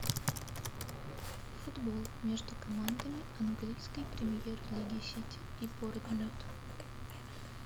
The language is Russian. футбол между командами английской премьер лиги сити и борнмут